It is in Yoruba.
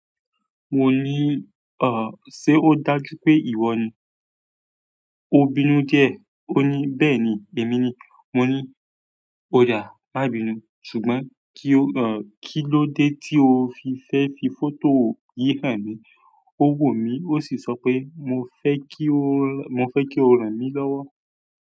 Mo ní, "ọ̀, ṣe ó dájú pé ìwọ ni?" Ó bínú díẹ̀, ó ní, "Bẹ́ẹ̀ni, èmi ni." Mo ní, "O dà, má bínú, ṣùgbọ́n kí ló dé tí o fi fẹ́ fi fọ́tò yìí hàn mí?" Ó wò mí, ó sì sọ pé, "Mo fẹ́ kí o ràn mí lọ́wọ́."